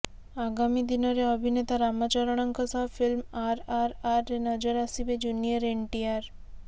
ଆଗାମୀ ଦିନରେ ଅଭିନେତା ରାମଚରଣଙ୍କ ସହ ଫିଲ୍ମ ଆରଆର୍ଆର୍ରେ ନଜର ଆସିବେ ଜୁନିୟର ଏନ୍ଟିଆର୍